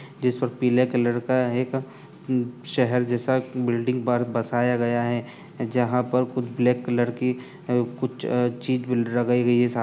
जिस पर पीले कलर का एक एक शहर जैसा बिल्डिंग बर बसाया गया है जहाँ पर कुछ ब्लैक कलर की कुछ चीज लगाई गई है।